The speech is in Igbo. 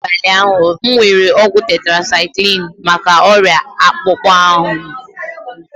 N'abalị ụnyaahụ, m were ọgwụ tetracyclini maka ọrịa akpụkpọ ahụ m.